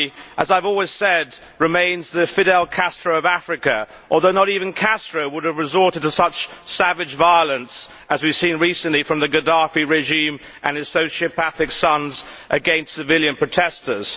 As I have always said, Gaddafi remains the Fidel Castro of Africa, although not even Castro would have resorted to such savage violence as we have seen recently from the Gaddafi regime and his sociopathic sons against civilian protestors.